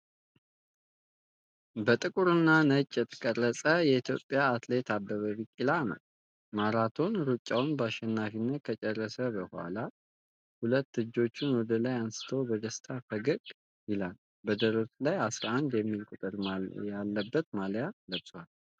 በጥቁርና ነጭ የተቀረጸ የኢትዮጵያዊው አትሌት አበበ ቢቂላ ነው። ማራቶን ሩጫውን በአሸናፊነት ከጨረሰ በኋላ፣ ሁለቱን እጆቹን ወደ ላይ አንስቶ በደስታ ፈገግ ይላል። በደረቱ ላይ '11' የሚል ቁጥር ያለበት ማሊያ ለብሷል።